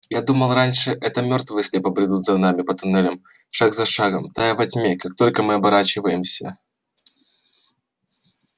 я думал раньше что это мёртвые слепо бредут за нами по туннелям шаг за шагом тая во тьме как только мы оборачиваемся